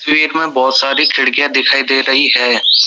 बहोत सारी खिड़कियां दिखाई दे रही हैं।